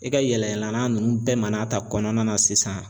E ka yɛlɛ yɛlɛnan ninnu bɛɛ mana ta kɔnɔna na sisan